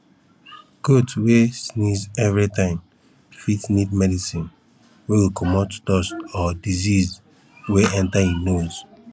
goat wey sneeze everytime fit need medicine wey go comot dust or disease wey enter e nose